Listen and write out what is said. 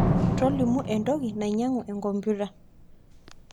tolimu entoki nainyangu ekompyuta